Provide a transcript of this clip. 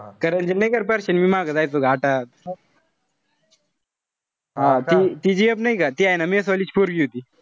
कारण कि नाई का मी अन परश्या मागं जायचो आता ती ती gf नाई का mess वाली story होती.